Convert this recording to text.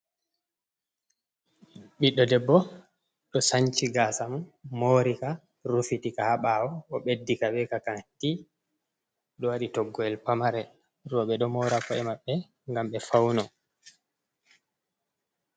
Ɓiɗɗo debbo ɗo sanci gasa mum morika, rufitika ha ɓaawo, o ɓeddika be ka kanti, ɗo waɗi toggoyel pamarel. Rowɓe ɗo mora ko’e maɓɓe ngam ɓe fauno.